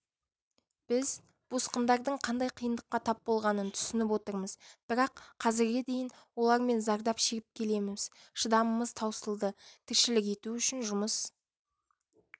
біз босқындардың қандай қиындыққа тап болғанын түсініп отырмыз бірақ қазірге дейін олардан зардап шегіп келеміз шыдамымыз таусылды тіршілік ету үшін жұмыс